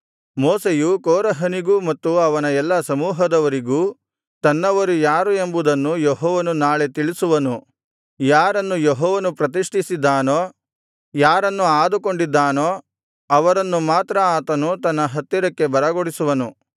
ಮೋಶೆಯು ಕೋರಹನಿಗೂ ಮತ್ತು ಅವನ ಎಲ್ಲಾ ಸಮೂಹದವರಿಗೂ ತನ್ನವರು ಯಾರು ಎಂಬುದನ್ನು ಯೆಹೋವನು ನಾಳೆ ತಿಳಿಸುವನು ಯಾರನ್ನು ಯೆಹೋವನು ಪ್ರತಿಷ್ಠಿಸಿದ್ದಾನೋ ಯಾರನ್ನು ಆದುಕೊಂಡಿದ್ದಾನೋ ಅವರನ್ನು ಮಾತ್ರ ಆತನು ತನ್ನ ಹತ್ತಿರಕ್ಕೆ ಬರಗೊಡಿಸುವನು